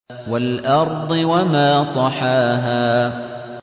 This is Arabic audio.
وَالْأَرْضِ وَمَا طَحَاهَا